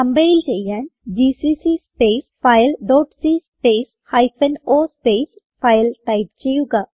compile ചെയ്യാൻ GCC space file dot c space hyphen o space file type ചെയ്യുക